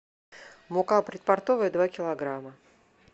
мука предпортовая два килограмма